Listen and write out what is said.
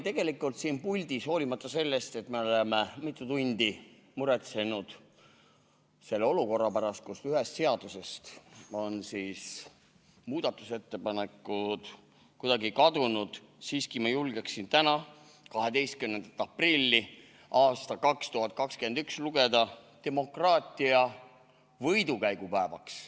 Täna siin puldis, hoolimata sellest, et me oleme mitu tundi muretsenud selle olukorra pärast, kus ühest seadusest on muudatusettepanekud kuidagi kadunud, ma julgeksin siiski lugeda tänast päeva, 12. aprilli aastal 2021, demokraatia võidukäigu päevaks.